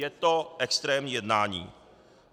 Je to extrémní jednání.